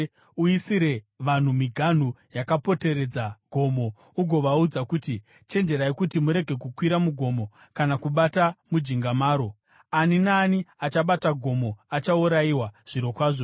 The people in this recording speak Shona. Uisire vanhu miganhu yakapoteredza gomo ugovaudza kuti, ‘Chenjerai kuti murege kukwira mugomo kana kubata mujinga maro. Ani naani achabata gomo achaurayiwa, zvirokwazvo.